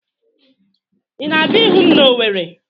Ị na-abịa ịhụ m n'Ọweri.